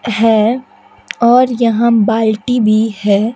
है और यहां बाल्टी भी है।